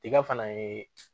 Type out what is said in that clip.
Tiga fana ye